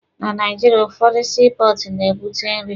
Na Naijiria, ụfọdụ sii pọọtụ na-ebute nri.